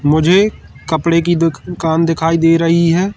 मुझे कपड़े की दुकान दिखाई दे रही है।